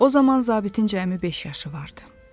O zaman zabitin cəmi beş yaşı vardı.